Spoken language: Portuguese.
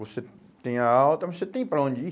Você tem a alta, mas você tem para onde ir?